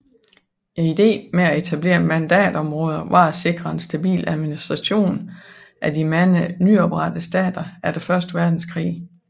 Ideen med at etablere mandatområder var at sikre en stabil administration af de mange nyoprettede stater efter første verdenskrig